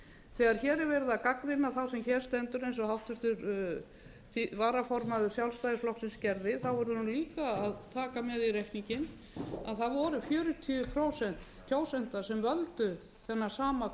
þegar hér er verið að gagnrýna þá sem hér stendur eins og háttvirtur varaformaður sjálfstæðisflokksins gerði verður hún líka að taka með í reikninginn að það voru fjörutíu prósent kjósenda sem völdu þennan sama